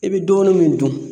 I be dɔɔni min dun